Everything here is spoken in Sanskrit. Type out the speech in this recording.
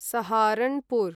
सहारनपुर्